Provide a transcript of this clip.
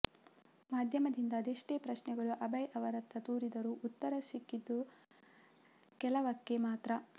ಮಾಧ್ಯಮದಿಂದ ಅದೆಷ್ಟೇ ಪ್ರಶ್ನೆಗಳು ಅಭಯ್ ಅವರತ್ತ ತೂರಿದರೂ ಉತ್ತರ ಸಿಕ್ಕಿದ್ದು ಕೆಲವಕ್ಕೆ ಮಾತ್ರ